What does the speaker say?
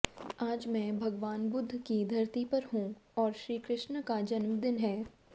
आज मैं भगवान बुद्ध की धरती पर हूं और श्रीकृष्ण का जन्मदिन है